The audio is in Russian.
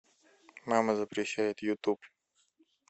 мама запрещает ютуб